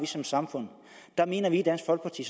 som samfund der mener vi i dansk folkeparti